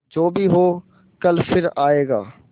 जो भी हो कल फिर आएगा